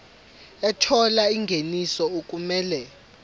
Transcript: ethola ingeniso okumele